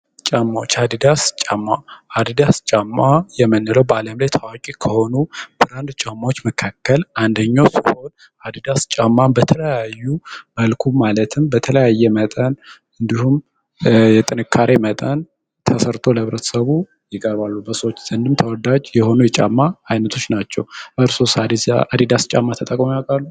ጫማዎች አዲዳስ ጫማ አዳዲስ ጫማ የምንለው በዓለም ላይ ታዋቂ ከሆኑ በአንድ ጨዋታዎች መካከል አንደኛው አዲዳስ ጫማን በተለያዩ መልኩ ማለትም በተለያየ መጠን እንዲሁም እየጠነከረ መጠን ተሰርቶ ለቤተሰቡ ይቀርባል። በሰዎች ዘንድ ተወዳጅ የሆኑ የጫማ አይነቶች ናቸው። በሦስት አዲስ የአዲዳስ ጨዋታው ያውቃሉ?